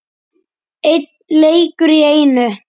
Einn leikur í einu.